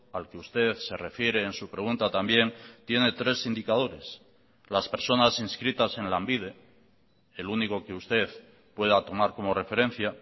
al que usted se refiere en su pregunta también tiene tres indicadores las personas inscritas en lanbide el único que usted pueda tomar como referencia